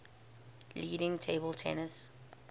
leading table tennis